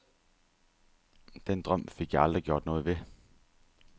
Den drøm fik jeg aldrig gjort noget ved.